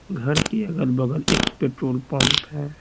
घर के अगल-बगल एक पेट्रोल पंप है।